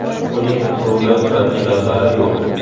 Uning ruli va pedallari yo‘q.